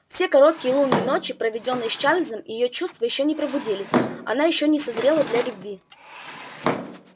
в те короткие лунные ночи проведённые с чарлзом её чувства ещё не пробудились она ещё не созрела для любви